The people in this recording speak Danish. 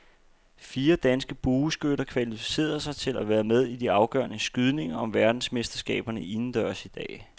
Fire danske bueskytter kvalificerede sig til at være med i de afgørende skydninger om verdensmesterskaberne indendørs i dag.